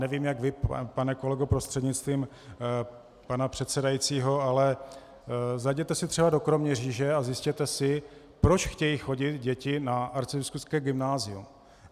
Nevím, jak vy, pane kolego prostřednictvím pana předsedajícího, ale zajděte si třeba do Kroměříže a zjistěte si, proč chtějí chodit děti na arcibiskupské gymnázium.